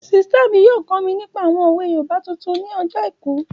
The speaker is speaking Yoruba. Ṣítà mi yóò kọ́ mi nípa àwọn òwe yoòbá tuntun ní ọjọ́ àìkú